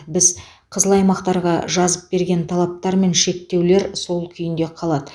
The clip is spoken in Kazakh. біз қызыл аймақтарға жазып берген талаптар мен шектеулер сол күйінде сақталады